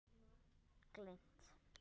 Annað: Gleymt.